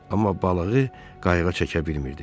Amma balığı qayıqa çəkə bilmirdi.